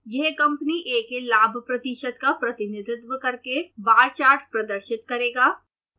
यह company a के लाभ प्रतिशत का प्रतिनिधित्व करके बार चार्ट प्रदर्शित करेगा